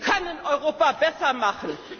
Sie können Europa besser machen!